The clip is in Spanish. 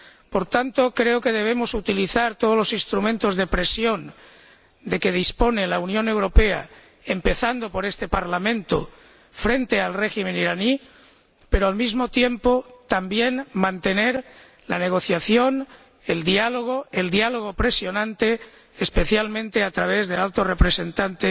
Por tanto, creo que debemos utilizar todos los instrumentos de presión de que dispone la Unión Europea, empezando por este Parlamento, frente al régimen iraní, pero, al mismo tiempo, también mantener la negociación, el diálogo, un diálogo que ejerza presión, especialmente a través del Alto Representante,